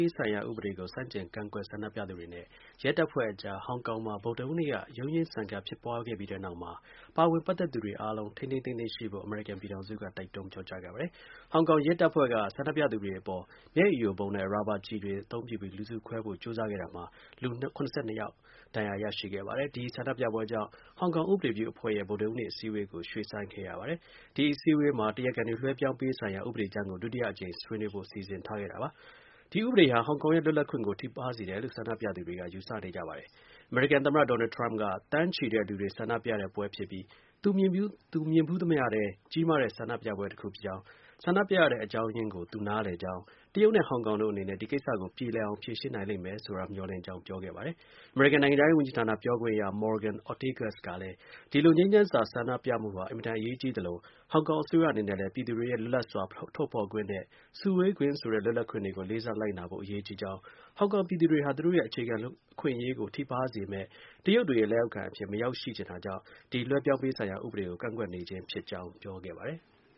ေးဆိုင်ရာ ဥပဒေကို ဆန့်ကျင်ကန့်ကွက် ဆန္ဒပြသူတွေနဲ့ ရဲတပ်ဖွဲ့အကြား ဟောင်ကောင်မှာ ဗုဒ္ဒဟူးနေ့က ရုန်းရင်းဆန်ခတ် ဖြစ်ပွားခဲ့ပြီးတဲ့နောက် အမေရိကန် ပြည်ထောင်စုက ပါဝင်ပတ်သက်သူ အဖွဲ့တွေအားလုံး ထိန်းထိန်းသိမ်းသိမ်း ရှိဖို့ တိုက်တွန်းပြောကြားခဲ့ပါတယ်။ ဟောင်ကောင် ရဲတပ်ဖွဲ့က ဆန္ဒပြသူတွေ အပေါ် မျက်ရည်ယိုဗုံးနဲ့ရာဘာ ကျည်တွေ အသုံးပြုပြီး လူစုခွဲဖို့ ကြိုးစားခဲ့တာမှာ လူ ၇၂ ယောက် ဒဏ်ရာ ရရှိခဲ့ပါတယ်။ ဒီ ဆန္ဒပြပွဲကြောင့် ဟောင်ကောင် ဥပဒေပြုအဖွဲ့ရဲ့ဗုဒ္ဒဟူးနေ့ အစည်းအဝေးကို ရွှေ့ဆိုင်းခဲ့ရပါတယ်။ ဒီ အစည်းအဝေးမှာ အလိုရှိသူတွေ လွှဲပြောင်းပေးရေးဆိုင်ရာ ဥပဒေကြမ်းကို ဒုတိယအကြိမ် ဆွေးနွေးဖို့ စီစဉ်ထားခဲ့ပါတယ်။ ဒီ ဥပဒေဟာ ဟောင်ကောင်ရဲ့ လွတ်လပ်ခွင့်ကို ထိပါးစေတယ်လို့ ဆန္ဒပြသူတွေက ယူဆကြပါတယ်။ အမေရိကန်သမ္မတ ဒေါ်နယ်ထရမ့်က သန်းချီတဲ့ ဆန္ဒပြပွဲဖြစ်ပြီး သူမြင်ဖူးသမျှထဲ ကြီးမားတဲ့ ဆန္ဒပြပွဲကြီးတစ်ခုဖြစ်ကြောင်း၊ ဆန္ဒပြရတဲ့ အကြောင်းရင်းကို သူနားလည်ကြောင်း၊ တရုတ်နဲ့ ဟောင်ကောင်တို့ အနေနဲ့ဒီကိစ္စကို ပြေလည်အောင် ဖြေရှင်းနိုင်လိမ့်မယ်ဆိုတာ မျှော်လင့် ကြောင်း ပြောခဲ့ပါတယ်။ အမေရိကန်နိုင်ငံခြားရေး ဝန်ကြီးဌာန ပြောခွင့်ရ Morgan Ortagus ကလည်း ဒီ လို ငြိမ်းချမ်းစွာ ဆန္ဒပြမှုတွေဟာ အင်မတန် အရေးကြီးသလို ဟောင်ကောင် အစိုးရအနေနဲ့လည်း ပြည်သူတွေရဲ့ လွတ်လပ်စွာ ထုတ်ဖော်ခွင့်နဲ့ စုဝေခွင့် ဆိုတဲ့ လွတ်လပ်ခွင့်တွေကို လေးစား လိုက်နာဖို့ အရေးကြီးကြောင်း၊ ဟောင်ကောင်ပြည်သူတွေဟာ သူတို့ရဲ့ အခြေခံ အခွင့်အရေးကို ထိပါးစေမယ့် တရုတ်တွေရဲ့လက်အောက်ခံအဖြစ် မရောက်ရှိချင်တာကြောင့်ဒီ လွှဲပြောင်းပေးရေး ဆိုင်ရာ ဥပဒေကို ကန့်ကွက်နေခြင်းဖြစ်ကြောင်း ပြောခဲ့ပါတယ်။